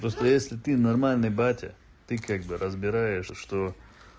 просто если ты нормальный батя ты как бы разбираешь что